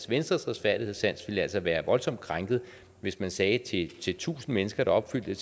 venstres retfærdighedssans ville altså være voldsomt krænket hvis man sagde til til tusind mennesker der opfyldte